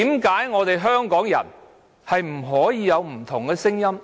為何香港人不能有不同聲音？